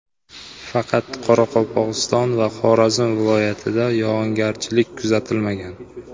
Faqat Qoraqalpog‘iston va Xorazm viloyatida yog‘ingarchilik kuzatilmagan.